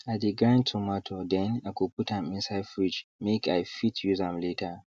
i de grind tomato then i go put am inside fridge make i fit use am later